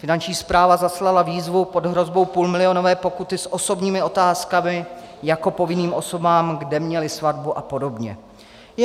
Finanční správa zaslala výzvu pod hrozbou půlmilionové pokuty s osobními otázkami jako povinným osobám, kde měli svatbu a podobně.